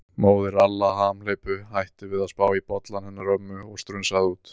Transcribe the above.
Móðir Alla hamhleypu hætti við að spá í bollann hennar ömmu og strunsaði út.